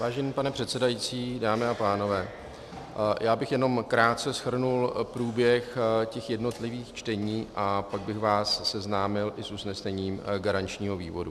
Vážený pane předsedající, dámy a pánové, já bych jenom krátce shrnul průběh těch jednotlivých čtení a pak bych vás seznámil i s usnesením garančního výboru.